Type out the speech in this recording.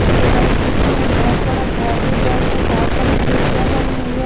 बगल बीच में बहोत बड़ा घर दिख रहा है उसमे बहोत सारी खिड़कियाँ बनी हुई हैं ।